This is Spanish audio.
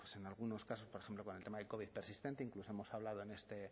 pues en algunos casos por ejemplo con el tema del covid persistente incluso hemos hablado en este